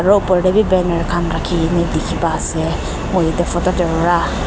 aro opor tey bhi banner khan rakhi kena dikhi pai ase moi etay photo tey para.